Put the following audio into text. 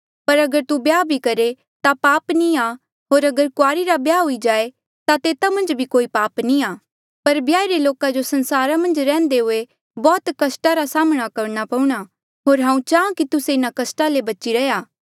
पर अगर तू ब्याह भी करहे ता पाप नी आ होर अगर कुआरी रा ब्याह हुई जाए ता तेता मन्झ भी कोई पाप नी आ पर ब्याहिरे लोका जो संसारा मन्झ रैहन्दे हुए बौह्त कस्टा रा साम्हणा करणा पऊणा होर हांऊँ चाहां कि तुस्से इन्हा कस्टा ले बची रैहया